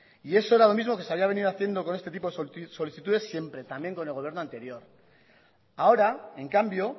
y eso era lo mismo que se había venido haciendo con este tipo de solicitudes siempre también con el gobierno anterior ahora en cambio